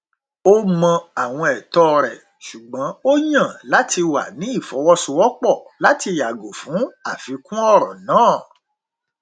ó mọ àwọn ẹtọ rẹ ṣùgbọn ó yàn láti wà ní ìfọwọsowọpọ láti yàgò fún àfikún ọrọ náà